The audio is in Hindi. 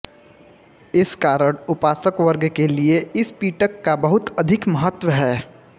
इस कारण उपासकवर्ग के लिए इस पिटक का बहुत अधिक महत्त्व है